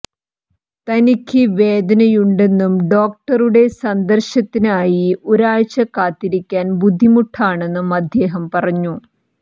തനിക്ക് വേദനയുണ്ടെന്നും ഡോക്ടറുടെ സന്ദർശനത്തിനായി ഒരാഴ്ച കാത്തിരിക്കാൻ ബുദ്ധിമുട്ടാണെന്നും അദ്ദേഹം പറഞ്ഞു